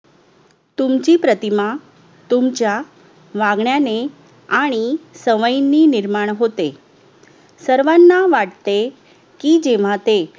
तुमची प्रतिमा तुमच्या वागण्याने आणि सवयींनी निर्माण होते सर्वांना वाटते की जेव्हा ते